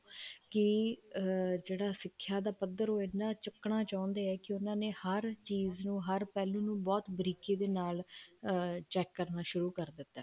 ਕੀ ਅਮ ਜਿਹੜਾ ਸਿੱਖਿਆ ਦਾ ਪੱਧਰ ਹੈ ਉਹ ਇੰਨਾ ਚੁੱਕਣਾ ਚਾਹੁੰਦੇ ਆ ਕੀ ਉਹਨਾ ਨੇ ਹਰ ਚੀਜ਼ ਨੂੰ ਹਰ ਗੱਲ ਨੂੰ ਬਹੁਤ ਬਾਰੀਕੀ ਦੇ ਨਾਲ ਅਮ check ਕਰਨਾ ਸ਼ੁਰੂ ਕਰ ਦਿੱਤਾ